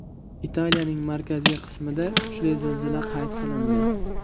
Italiyaning markaziy qismida kuchli zilzila qayd qilindi.